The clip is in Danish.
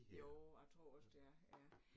Jo jeg tror også det er